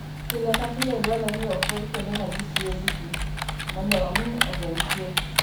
Pile ka pile, dwarore ni opwodh kuonde ma ji tiyoe gi pi, mondo omi ogeng' tuoche.